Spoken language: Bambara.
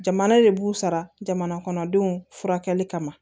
Jamana de b'u sara jamana kɔnɔdenw furakɛli kama